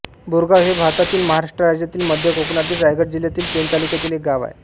बोरगाव हे भारतातील महाराष्ट्र राज्यातील मध्य कोकणातील रायगड जिल्ह्यातील पेण तालुक्यातील एक गाव आहे